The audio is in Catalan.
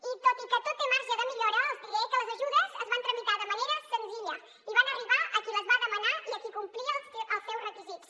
i tot i que tot té marge de millora els diré que les ajudes es van tramitar de manera senzilla i van arribar a qui les va demanar i a qui complia els seus requisits